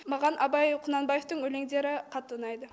маған абай құнанбаевтың өлеңдері қатты ұнайды